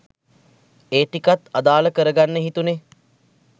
ඒ ටිකත් අදාල කර ගන්න හිතුනෙ.